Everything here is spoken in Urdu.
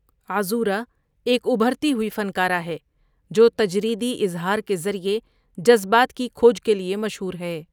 عذورا ایک ابھرتی ہوئی فنکارہ ہے جو تجریدی اظہار کے ذریعے جذبات کی کھوج کے لئے مشہور ہے۔